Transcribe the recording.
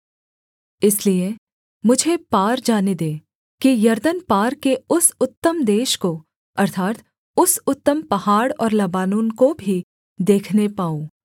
इसलिए मुझे पार जाने दे कि यरदन पार के उस उत्तम देश को अर्थात् उस उत्तम पहाड़ और लबानोन को भी देखने पाऊँ